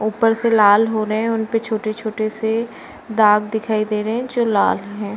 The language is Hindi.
ऊपर से लाल हो रहे हैं। उनपे छोटे-छोटे से दाग दिखाई दे रहे हैं जो लाल हैं।